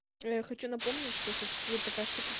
я хочу напомнить что существует такая штука